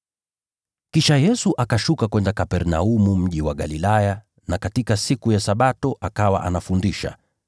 Kisha Yesu akashuka kwenda Kapernaumu, mji wa Galilaya, na katika siku ya Sabato akawa anafundisha.